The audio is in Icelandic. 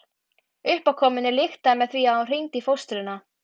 Uppákomunni lyktaði með því að hún hringdi í fóstruna.